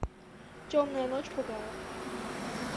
темная ночь пугала